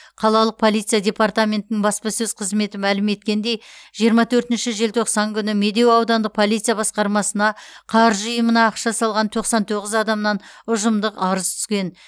қалалық полиция департаментінің баспасөз қызметі мәлім еткендей жиырма төртінші желтоқсан күні медеу аудандық полиция басқармасына қаржы ұйымына ақша салған тоқсан тоғыз адамнан ұжымдық арыз түскен